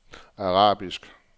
arabiske